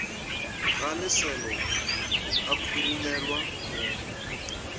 ga leselo a khurumelwa go